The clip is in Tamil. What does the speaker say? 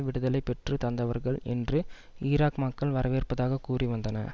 விடுதலை பெற்று தந்தவர்கள் என்று ஈராக் மக்கள் வரவேற்பதாக கூறி வந்தன